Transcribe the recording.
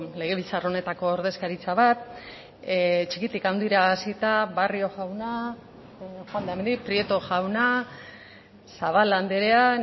legebiltzar honetako ordezkaritza bat txikitik handira hasita barrio jauna prieto jauna zabala andrea